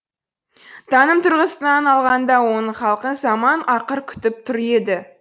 таным тұрғысынан алғанда оның халқын заман ақыр күтіп тұр еді